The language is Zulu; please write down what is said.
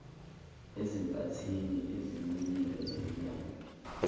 ezinkathini ezinqunyiwe zemilando